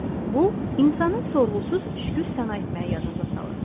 Bu, insanın sorğusuz şükür sənə etməyi yadınıza salır.